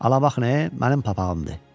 Ala bax, nə, mənim papağımdır.